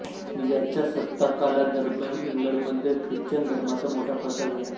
याच्या सत्ताकालादरम्यान इंग्लंडमध्ये ख्रिश्चन धर्माचा मोठा प्रसार झाला